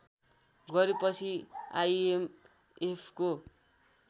गरेपछि आइएमएफको